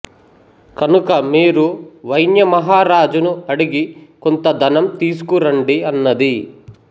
కనుక మీరు వైన్యమహారాజును అడిగి కొంత ధనం తీసుకు రండి అన్నది